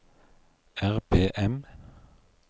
RPM